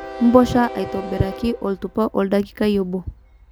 Mposha aitobiraki oltupa oldakikai obo